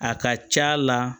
A ka ca la